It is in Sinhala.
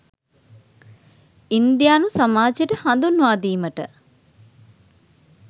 ඉන්දියානු සමාජයට හඳුන්වාදීමට